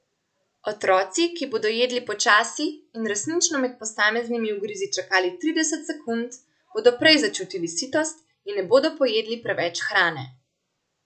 Otroci, ki bodo jedli počasi in resnično med posameznimi ugrizi čakali trideset sekund, bodo prej začutili sitost in ne bodo pojedli preveč hrane.